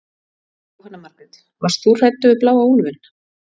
Jóhanna Margrét: Varst þú hræddur við bláa úlfinn?